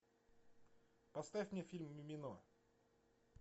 поставь мне фильм мимино